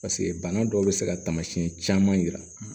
paseke bana dɔw be se ka taamasiɲɛn caman yira